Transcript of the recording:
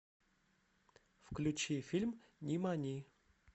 включи фильм нимани